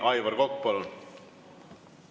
Aivar Kokk, palun!